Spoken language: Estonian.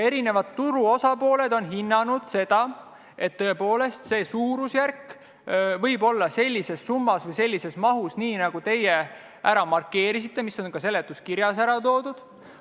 Ja turu osapooled on hinnanud, et tõepoolest, see suurusjärk võib vastata sellisele summale või mahule, nagu te markeerisite ja mis on ka seletuskirjas välja toodud.